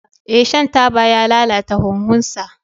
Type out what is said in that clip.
Ee, shan taba ya lalata huhunsa.